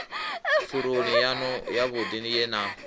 pfuloni yanu yavhudi ye na